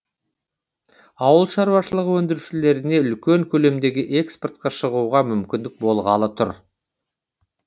ауыл шаруашылығы өндірушілеріне үлкен көлемдегі экспортқа шығуға мүмкіндік болғалы тұр